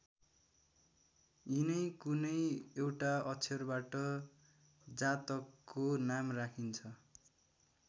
यिनै कुनै एउटा अक्षरबाट जातकको नाम राखिन्छ।